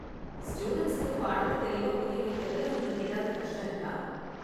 ஸ்டூடண்ட்ஸுக்கு பாடத்தை தெளிவா புரிய வைக்கறதுல உங்களுக்கு ஏதாவது கஷ்டம் இருக்கா?